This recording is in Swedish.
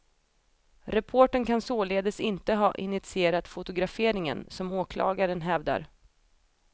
Reportern kan således inte ha initierat fotograferingen, som åklagaren hävdar.